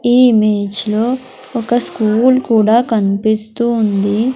ఈ ఇమేజ్ లో ఒక స్కూల్ కూడా కన్పిస్తూ ఉంది.